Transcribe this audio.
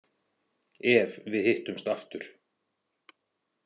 Ef við hittumst aftur.